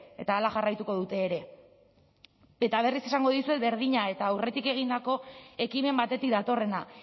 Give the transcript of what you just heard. eta hala jarraituko dute ere eta berriz esango dizuet berdina eta aurretik egindako ekimen batetik datorrena